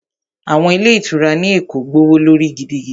Àwọn ilé ìtura ní Èkó gbówó lórí gidigidi